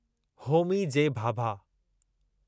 Homi J Bhabha